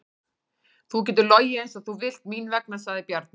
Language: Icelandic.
Þú getur logið eins og þú vilt mín vegna, sagði Bjarni.